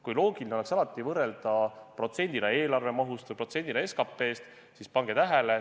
Kui loogiline oleks alati võrrelda protsendina eelarvemahust või protsendina SKT-st, siis – pange tähele!